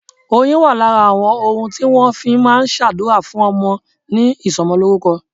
Oyin wà lára àwọn ohun tí wọn fi máa ń s'adura fún ọmọ ní ìsomolórúkọ.